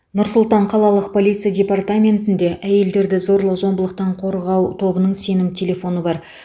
нұр сұлтан қалалық полиция департаментінде әйелдерді зорлық зомбылықтан қорғау тобының сенім телефоны бар